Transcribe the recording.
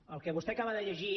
el que vostè acaba de llegir